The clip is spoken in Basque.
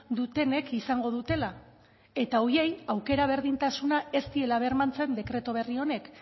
dutenek izango dutela eta horiei aukera berdintasuna ez diela bermatzen dekretu berri honek